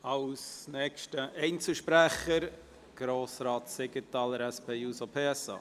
Als nächster Einzelsprecher hat Grossrat Siegenthaler, SP, das Wort.